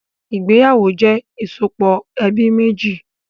Ìgbéyàwó jẹ ìsopọ̀ ẹbí méjì